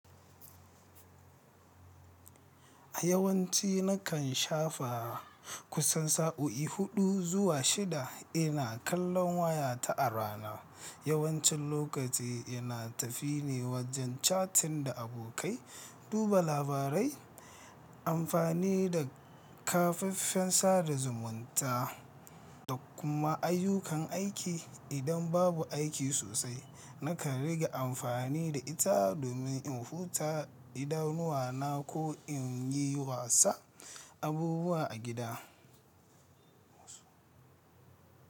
A yawanci nakan shafa kusan sa'o'i huɗu zuwa shida ina kallon wayata a rana. Yawancin lokaci ina tafine wajen cattin da abokai, duba labarai, amfani da kafafen sada zumunta da kuma ayyukan aiki. Idan babu aiki sosai, nakan riga amfani da ita domin in huta, idanuwana ko in yi wasa abubuwa a gida.